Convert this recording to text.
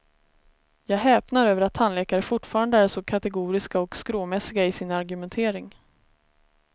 Jag häpnar över att tandläkare fortfarande är så kategoriska och skråmässiga i sin argumentering.